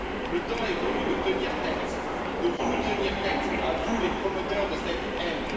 Le temps est venu de tenir tête, de vous tenir tête, à vous les promoteurs de cette haine.